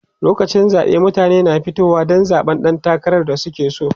lokacin zaɓe mutane na fitowa Dan zaɓan ɗan takarar da suke so